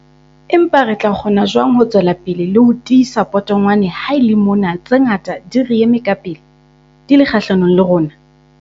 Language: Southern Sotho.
Empa re tla kgona jwang ho tswela pele le ho tiisa potongwane ha e le mona tse ngata di re eme ka pele, di le kgahlanong le rona?